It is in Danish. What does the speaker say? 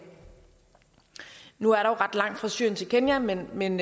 nu er der jo ret langt fra syrien til kenya men men